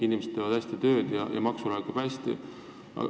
Inimesed teevad tublilt tööd ja makse laekub kenasti.